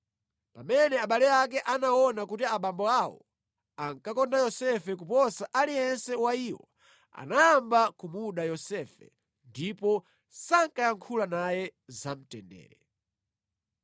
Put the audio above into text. Pamene abale ake anaona kuti abambo awo ankakonda Yosefe kuposa aliyense wa iwo, anayamba kumuda Yosefe ndipo sankayankhula naye zamtendere.